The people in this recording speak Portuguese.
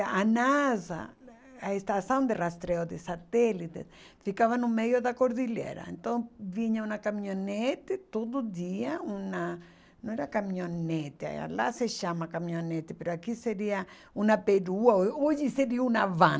A NASA, a Estação de Rastreio de Satélites, ficava no meio da cordilheira, então vinha uma caminhonete todo dia, uma, não era caminhonete, lá se chama caminhonete, aqui seria uma perua, ah hoje seria uma van.